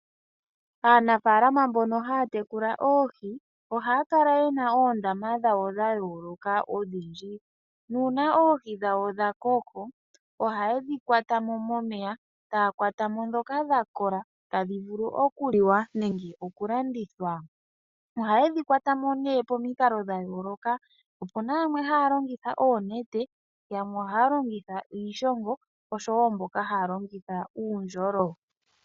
Aaanafaala mbono haya tekula oohi, ohaya kala ye na oondama dhawo dha yooloka odhindji, nuuna oohi dhawo dha koko ohaye dhi kwata mo momeya taya kwatamo ndhoka dha kola tadhi vulu okuliwa nenge okulandithwa. Ohaye dhi kwata mo ne pomikalo dha yooloka, opu na yamwe haya longitha oonete, yamwe ohaya longitha iishingo osho wo mboka haya longitha uundjolo.